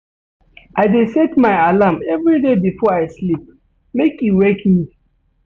I dey set my alarm everyday before I sleep make e wake me.